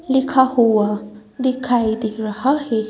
लिखा हुआ दिखाई दे रहा है।